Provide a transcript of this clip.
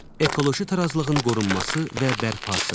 Ekoloji tarazlığın qorunması və bərpası.